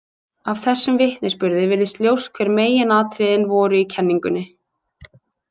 Af þessum vitnisburði virðist ljóst hver meginatriðin voru í kenningunni.